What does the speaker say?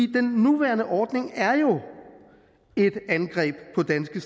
den nuværende ordning er jo et angreb på danske